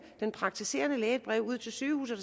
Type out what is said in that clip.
den praktiserende læge et brev ud til sygehuset